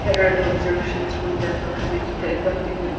Here are the observation from the above image the above in --